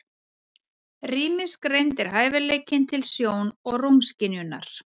Rýmisgreind er hæfileikinn til sjón- og rúmskynjunar.